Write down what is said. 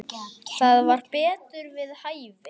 Það var betur við hæfi.